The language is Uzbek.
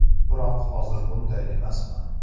Biroq hozir bunday emasman”.